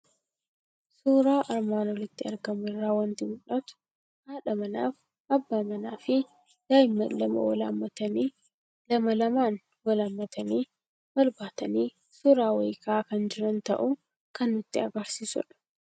Suuraa armaan olitti argamu irraa waanti mul'atu; haadha manaaf abbaa manaafi daa'immaan lama Wal hammatanii lama lamaan wan hammatani, wal baatani suura wahii ka'aa kan jiran ta'uu kan nutti agarsiisudha.